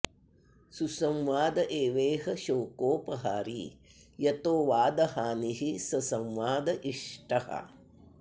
सुसंवाद एवेह शोकोपहारी यतो वादहानिः स संवाद इष्टः